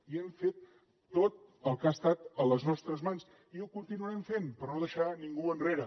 i hem fet tot el que ha estat a les nostres mans i ho continuarem fent per no deixar ningú enrere